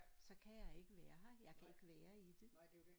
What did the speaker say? Så kan jeg ikke være her jeg kan ikke være i det